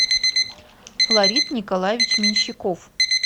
флорид николаевич меньщиков